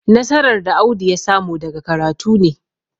nasarar da Audu ya samu daga karatu ne.